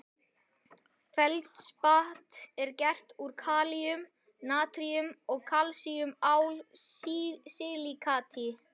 Feldspat er gert úr kalíum-, natríum- eða kalsíum-ál-silíkati